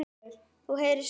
Þú heyrir svar.